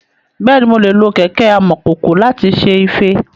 Bẹ́ẹ̀ni, mo lè lo kẹ̀kẹ́ amọ̀kòkò láti ṣe ife.